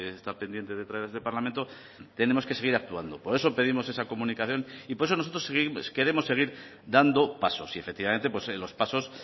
está pendiente de traer a este parlamento tenemos que seguir actuando por eso pedimos esa comunicación y por eso nosotros queremos seguir dando pasos y efectivamente en los pasos